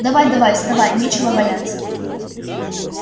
давай-давай вставай нечего валяться